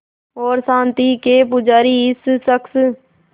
और शांति के पुजारी इस शख़्स